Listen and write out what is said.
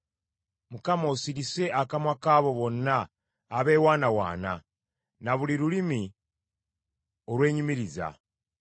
Mukama , osirise akamwa k’abo bonna abeewaanawaana, na buli lulimi olwenyumiriza;